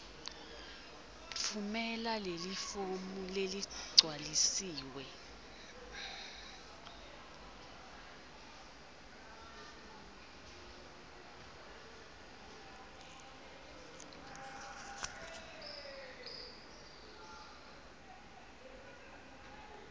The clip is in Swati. tfumela lelifomu leligcwalisiwe